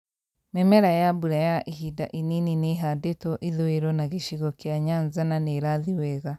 Mĩmera ya mbura ya ihinda inini nĩĩhandĩtwo ithũũĩro na gĩcigo kĩa Nyanza na nĩrathiĩ wega